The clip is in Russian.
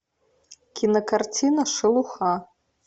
кинокартина шелуха